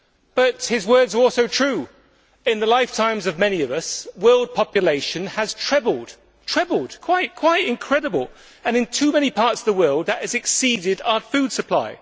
But his words were also true in the lifetimes of many of us, world population has trebled trebled, quite incredible and, in too many parts of the world, that has exceeded our food supply.